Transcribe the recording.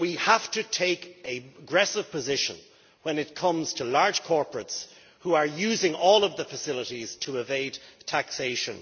However, we have to take an aggressive position when it comes to large corporates which are using all of the facilities to evade taxation.